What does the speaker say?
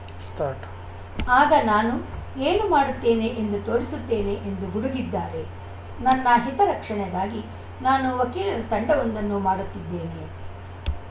start ಆಗ ನಾನು ಏನು ಮಾಡುತ್ತೇನೆ ಎಂದು ತೋರಿಸುತ್ತೇನೆ ಎಂದು ಗುಡುಗಿದ್ದಾರೆ ನನ್ನ ಹಿತ ರಕ್ಷಣೆಗಾಗಿ ನಾನು ವಕೀಲರ ತಂಡವೊಂದನ್ನು ಮಾಡುತ್ತಿದ್ದೇನೆ